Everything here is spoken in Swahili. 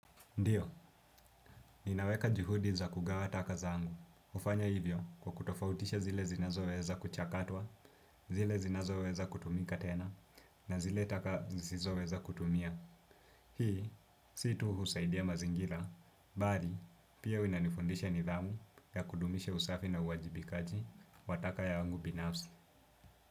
Ndiyo, nina weka juhudi za kugawa taka zangu. Hufanya hivyo kwa kutofautisha zile zinazoweza kuchakatwa, zile zinazoweza kutumika tena, na zile taka zisizoweza kutumia. Hii, si tu husaidia mazingira, bali, pia inanifundisha nidhamu ya kudumisha usafi na uwajibikaji wataka yangu binafsi.